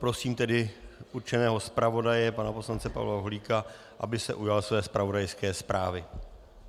Prosím tedy určeného zpravodaje, pana poslance Pavla Holíka, aby se ujal své zpravodajské zprávy.